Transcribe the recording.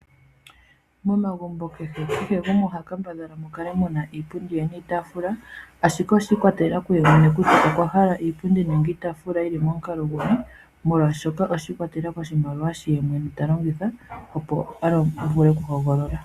Momagumbo kehe gumwe oha kambadhala opo mu kale muna iipundi niitaafula, ashike oshiikwatelela kuye mwene kutya okwahala iipundi nenge iitaafula yili momukalo guni, molwaashoka oshiikwatelela koshimaliwa shoka ye mwene ta longitha opo a vule okuhogolola.